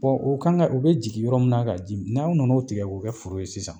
o kan ka ,u be jigin yɔrɔ mun na ka ji mi , n'aw nana o tigɛ k'o kɛ foro ye sisan